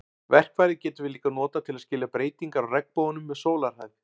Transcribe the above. Verkfærið getum við líka notað til að skilja breytingar á regnboganum með sólarhæð.